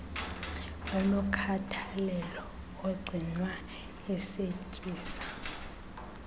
enokhathalelo agcinwa ecetyiswa